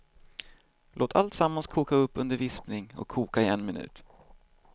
Låt alltsammans koka upp under vispning och koka i en minut.